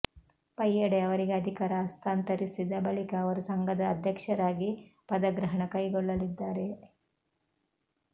ಪಯ್ಯಡೆ ಅವರಿಗೆ ಅಧಿಕಾರ ಹಸ್ತಾಂತರಿಸಿದ ಬಳಿಕ ಅವರು ಸಂಘದ ಅಧ್ಯಕ್ಷರಾಗಿ ಪದಗ್ರಹಣ ಕೈಗೊಳ್ಳಲಿದ್ದಾರೆ